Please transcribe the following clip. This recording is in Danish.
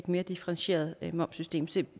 et mere differentieret momssystem så